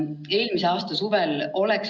See puudutab 7000 noort 158 koolist.